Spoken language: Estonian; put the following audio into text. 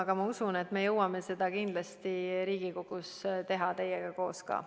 Aga ma usun, et me jõuame seda kindlasti Riigikoguski teha, teiega koos ka.